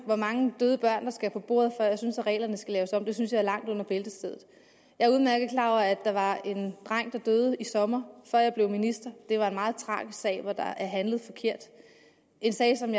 hvor mange døde børn der skal på bordet før jeg synes at reglerne skal laves om synes jeg er langt under bæltestedet jeg er udmærket klar over at der var en dreng der døde i sommer før jeg blev minister det var en meget tragisk sag hvor der er handlet forkert en sag som